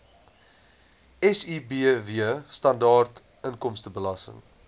sibw standaard inkomstebelasting